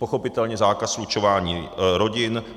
Pochopitelně zákaz slučování rodin.